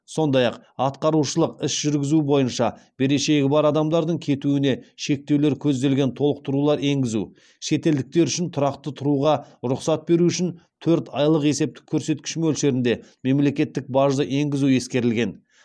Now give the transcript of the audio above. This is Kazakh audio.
сондай ақ атқарушылық іс жүргізу бойынша берешегі бар адамдардың кетуіне шектеулер көзделген толықтырулар енгізу шетелдіктер үшін тұрақты тұруға рұқсат беру үшін төрт айлық есептік көрсеткіш мөлшерінде мемлекеттік бажды енгізу ескерілген